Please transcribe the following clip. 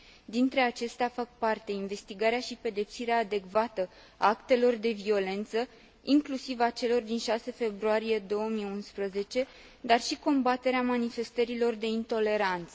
Dintre acestea fac parte investigarea și pedepsirea adecvată a actelor de violență, inclusiv a celor din 6 februarie 2011, dar și combaterea manifestărilor de intoleranță.